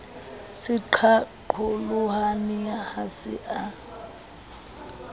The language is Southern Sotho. se qaqolohane ha se a